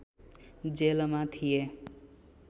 जेलमा थिए